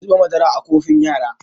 Ki zuba madaran a kofin yara!